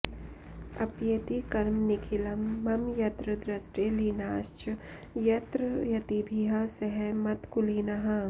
अप्येति कर्म निखिलं मम यत्र दृष्टे लीनाश्च यत्र यतिभिः सह मत्कुलीनाः